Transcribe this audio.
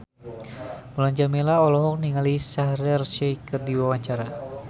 Mulan Jameela olohok ningali Shaheer Sheikh keur diwawancara